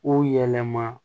Ko yɛlɛma